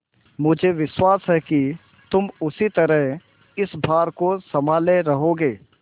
मुझे विश्वास है कि तुम उसी तरह इस भार को सँभाले रहोगे